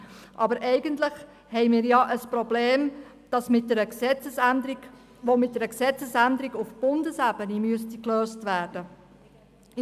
Aber eigentlich haben wir ja ein Problem, das mit einer Gesetzesänderung auf Bundesebene gelöst werden müsste.